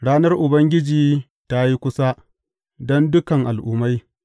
Ranar Ubangiji ta yi kusa don dukan al’ummai.